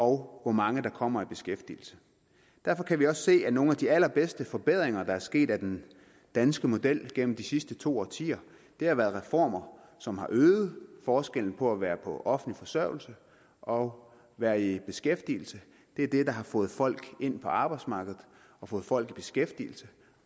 hvor mange der kommer i beskæftigelse derfor kan vi også se at nogle af de allerbedste forbedringer der er sket af den danske model igennem de sidste to årtier har været reformer som har øget forskellen på at være på offentlig forsørgelse og at være i beskæftigelse det er det der har fået folk ind på arbejdsmarkedet og fået folk i beskæftigelse